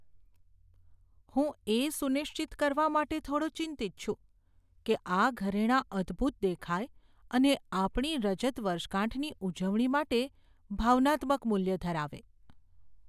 હું એ સુનિશ્ચિત કરવા માટે થોડો ચિંતિત છું કે આ ઘરેણાં અદ્ભુત દેખાય અને આપણી રજત વર્ષગાંઠની ઉજવણી માટે ભાવનાત્મક મૂલ્ય ધરાવે.